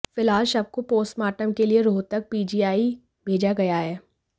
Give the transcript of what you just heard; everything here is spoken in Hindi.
फिलहाल शव को पोस्टमार्टम के लिए रोहतक पीजीआई भेजा गया है